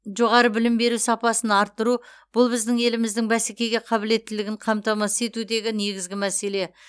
жоғары білім беру сапасын арттыру бұл біздің еліміздің бәсекеге қабілеттілігін қамтамасыз етудегі негізгі мәселе